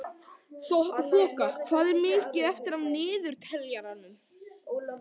Þoka, hvað er mikið eftir af niðurteljaranum?